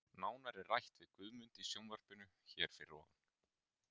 Nánar er rætt við Guðmund í sjónvarpinu hér fyrir ofan.